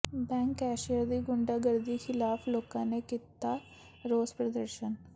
bank cashier ਦੀ ਗੁੰਡਾਗਰਦੀ ਖ਼ਿਲਾਫ਼ ਲੋਕਾਂ ਨੇ ਕੀਤਾ ਰੋਸ ਪ੍ਰਦਰਸ਼ਨ